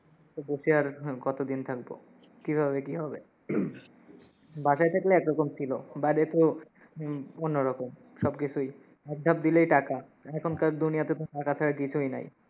তো বসে আর হম কতোদিন থাকবো, কিভাবে কি হবে, বাসায় থাকলে একরকম ছিলো, বাইরে তো হম অন্যরকম সব কিছুই, এক ধাপ দিলেই টাকা। এখনকার দুনিয়াতে তো টাকা ছাড়া কিছুই নাই।